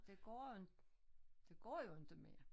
Det går inte det går jo inte mere